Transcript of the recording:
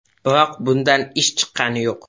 Biroq bundan ish chiqqani yo‘q.